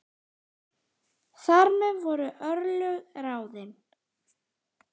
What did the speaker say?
Þar með voru örlög ráðin.